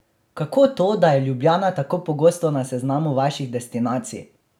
Kako to, da je Ljubljana tako pogosto na seznamu vaših destinacij?